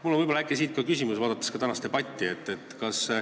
Mul on siit ka küsimus, olles kuulanud tänast debatti.